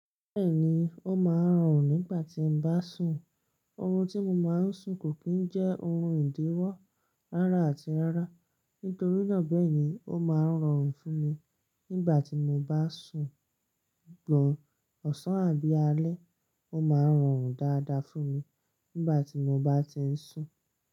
Bẹ́ẹ̀ni ó máa ń rọrùn nígbà tí n bá sùn. Oorun tí mo máa ń sun kò kí n jẹ́ oorun ìdíwọ́ rárá àti rárá. Nítorí náà bẹ́ẹ̀ ni ó máa ń rọrùn fún mi nígbà tí mo bá sùn. Ọ̀sán àbí alẹ́, ó máa ń rọrùn dáadáa fún mi nígbà tí mo bá ti ń sùn.